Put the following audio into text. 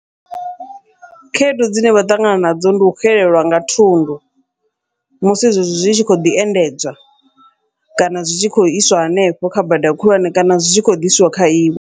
Khaedu dzine vha ṱangana nadzo ndi u xelelwa nga thundu, musi zwezwi zwi tshi kho ḓi endedzwa kana zwi tshi khou iswa hanefho kha bada khulwane kana zwi tshi khou ḓiswa kha iwe.